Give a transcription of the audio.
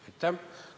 Aitäh!